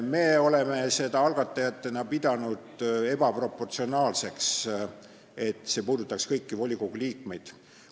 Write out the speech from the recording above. Me oleme algatajatena pidanud ebaproportsionaalseks, et see puudutaks kõiki volikogu liikmeid.